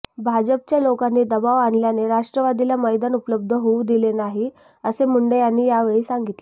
भाजपच्या लोकांनी दबाव आणल्याने राष्ट्रवादीला मैदान उपलब्ध होऊ दिले नाही असे मुंडे यांनी यावेळी सांगितले